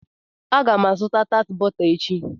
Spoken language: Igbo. Aga m azụta tat bọta echi.